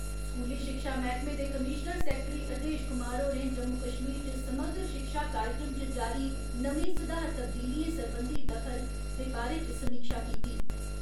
स्कूली शिक्षा मैहकमे दे कमीशनर सैक्ट्री हृदेश कुमार होरें जम्मू कश्मीर च समग्र शिक्षा कार्यक्रम च जारी नमी सुधार तबदीलियें सरबंधी दखल दे बारै समीक्षा कीती।